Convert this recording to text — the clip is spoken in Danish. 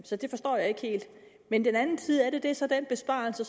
så det forstår jeg ikke helt men den anden side af det er så den besparelse